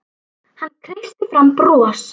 Hann sagðist ætla í sturtu.